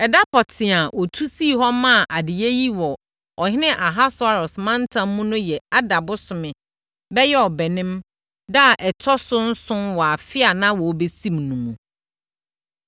Ɛda pɔtee a wɔtu sii hɔ maa adeyɛ yi wɔ ɔhene Ahasweros mantam mu no yɛ Adar bosome (bɛyɛ Ɔbɛnem) da a ɛtɔ so nson wɔ afe a na wɔrebɛsim no mu.